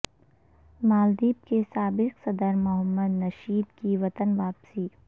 مالدیپ کے سابق صدر محمد نشید کی وطن واپسی